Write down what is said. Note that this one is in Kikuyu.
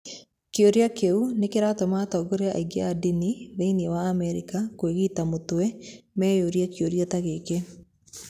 Kĩũria kĩu nĩ kĩratũma atongoria aingĩ a ndini thĩinĩ wa Amerika kwĩgita mũtwe meyũrie kĩũria ta gĩkĩ.